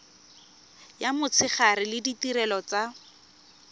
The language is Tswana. ya motshegare le ditirelo tsa